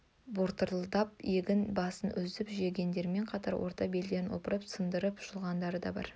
бортылдатып егін басын үзіп жегендерімен қатар орта белден опырып сындырып жұлғандар да бар